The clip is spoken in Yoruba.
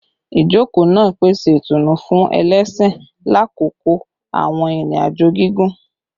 Ijoko naa pese itunu fun ẹlẹṣin lakoko awọn irin-ajo gigun